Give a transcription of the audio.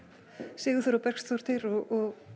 Sigurþóra Bergsdóttir og